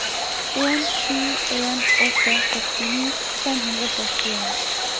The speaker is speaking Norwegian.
en sju en åtte sekstini fem hundre og førtien